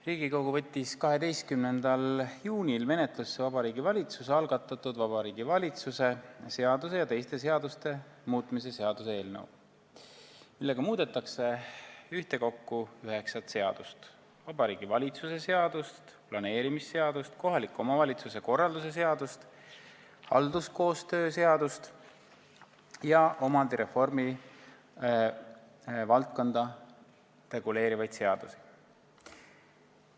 Riigikogu võttis 12. juunil menetlusse Vabariigi Valitsuse algatatud Vabariigi Valitsuse seaduse ja teiste seaduste muutmise seaduse eelnõu, millega muudetakse ühtekokku üheksat seadust: Vabariigi Valitsuse seadust, planeerimisseadust, kohaliku omavalitsuse korralduse seadust, halduskoostöö seadust ja omandireformi valdkonda reguleerivaid seadusi.